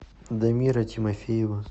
дамира тимофеева